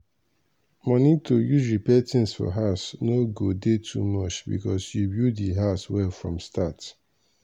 money to use repair things for house no go dey too much because you build di house well from start.